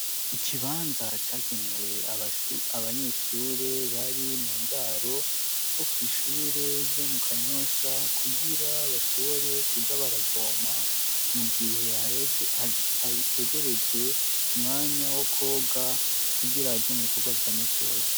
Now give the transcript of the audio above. Ikibanza cagenewe abanyeshure bari mu ndaro bo kw' ishure ryo mu Kanyosha kugira bashobore kuja baravoma mu gihe hegereje umwanya wo koga kugira baje mu bikorwa vya misi yose